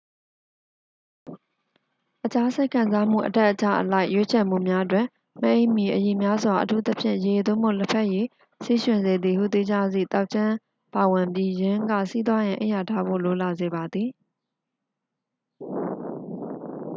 အခြား စိတ်ခံစားမှု အတက်အကျအလိုက် ရွေးချယ်မှုများတွင် မအိပ်မီ အရည်များစွာ အထူးသဖြင့် ရေ သို့မဟုတ် လက်ဖက်ရည်၊ ဆီးရွှင်စေသည်ဟု သိကြသည့် သောက်ခြင်း ပါဝင်ပြီး ယင်းက ဆီးသွားရန် အိပ်ယာထဖို့ လိုလာစေပါသည်။